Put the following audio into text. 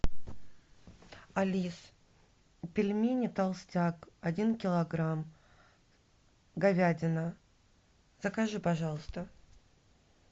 алис пельмени толстяк один килограмм говядина закажи пожалуйста